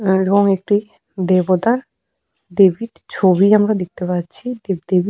এবং একটি দেবতার দেবীর ছবি আমরা দেখতে পাচ্ছি। দেব দেবী--